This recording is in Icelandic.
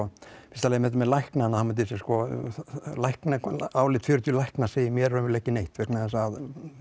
þetta með læknana með læknana álit fjörutíu lækna segir mér raunverulega ekki neitt vegna þess að